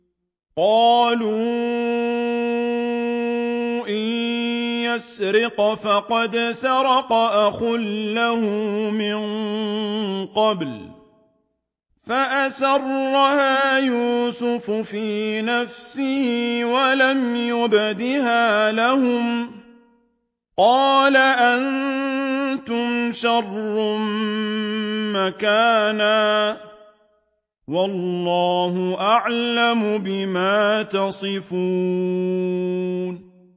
۞ قَالُوا إِن يَسْرِقْ فَقَدْ سَرَقَ أَخٌ لَّهُ مِن قَبْلُ ۚ فَأَسَرَّهَا يُوسُفُ فِي نَفْسِهِ وَلَمْ يُبْدِهَا لَهُمْ ۚ قَالَ أَنتُمْ شَرٌّ مَّكَانًا ۖ وَاللَّهُ أَعْلَمُ بِمَا تَصِفُونَ